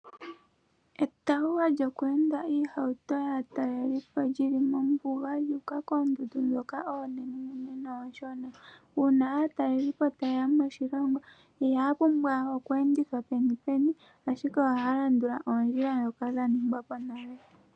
Etawuwa kyoku enda iihauto yaatalelipo lyi li mombuga lya uka koondundu dhoka oonene nooshona. Uuna aatalelipo taye ya moshilongo ihaya pumbwa oku enditha peni peni ashike ohaya landula oondjila dhoka dha ningwa po nale.